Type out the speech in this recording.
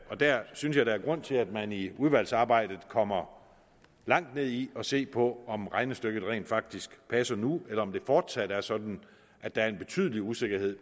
der synes jeg der er grund til at man i udvalgsarbejdet kommer langt ned i at se på om regnestykket rent faktisk passer nu eller om det fortsat er sådan at der er en betydelig usikkerhed